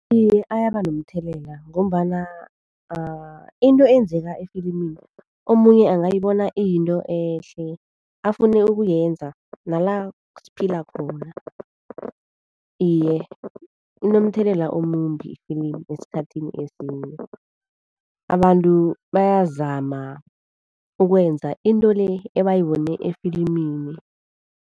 Iye, ayabanomthelela ngombana into eyenzeka efilimini omunye angayibona iyinto ehle, afune ukuyenza nala siphila khona. Iye, kunomthelela omumbi ifilimu esikhathini esinenyi, abantu bayazama ukwenza into le ebayibone efilimini.